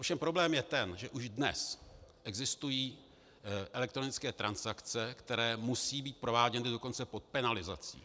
Ovšem problém je ten, že už dnes existují elektronické transakce, které musejí být prováděny dokonce pod penalizací.